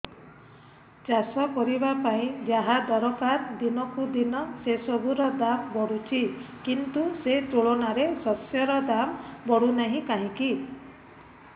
ଚାଷ କରିବା ପାଇଁ ଯାହା ଦରକାର ଦିନକୁ ଦିନ ସେସବୁ ର ଦାମ୍ ବଢୁଛି କିନ୍ତୁ ସେ ତୁଳନାରେ ଶସ୍ୟର ଦାମ୍ ବଢୁନାହିଁ କାହିଁକି